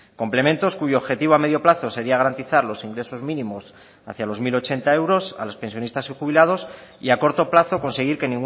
complementos cuyo objetivo a medio plazo sería garantizar los ingresos mínimos hacia los mil ochenta euros a los pensionistas y jubilados y a corto plazo conseguir que